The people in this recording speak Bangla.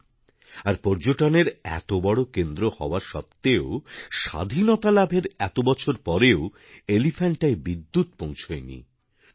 আমার এটা জেনে অদ্ভূত লেগেছে যে মুম্বাইয়ের কাছে অবস্থিত আর পর্যটনের এত বড় কেন্দ্র হওয়া সত্ত্বেও স্বাধীনতা লাভের এত বছর পরেও এলিফ্যান্টায় বিদ্যুৎ পৌঁছয় নি